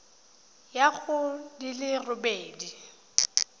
ya go di le robedi